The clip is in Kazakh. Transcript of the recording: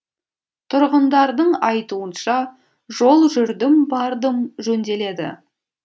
тұрғындардың айтуынша жол жүрдім бардым жөнделеді